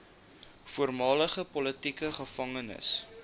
voormalige politieke gevangenes